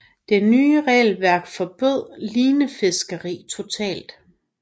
Det nye regelværk forbød linefiskeri totalt